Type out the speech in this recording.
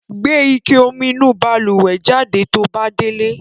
Gbe ike omi inú balùwẹ̀ jáde to bá délé.